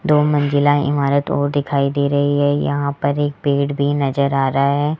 दो मंजिला इमारत और दिखाई दे रही है यहां पर एक पेड़ भी नज़र आ रहा है।